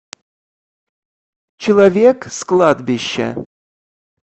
человек с кладбища